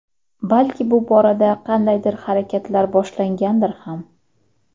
Balki bu borada qandaydir harakatlar boshlangandir ham.